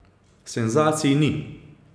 Senzacij ni.